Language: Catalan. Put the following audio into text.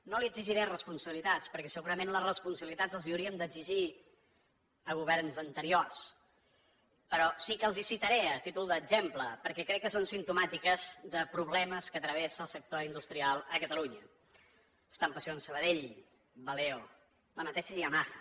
no li exigiré responsabilitats perquè segurament les responsabilitats les hauríem d’exigir a governs anteriors però sí que els les citaré a títol d’exemple perquè crec que són simptomàtiques de problemes que travessa el sector industrial a catalunya estampacions sabadell valeo la mateixa yamaha